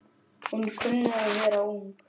Hún kunni að vera ung.